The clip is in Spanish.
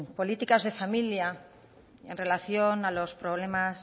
políticas de familia en relación a los problemas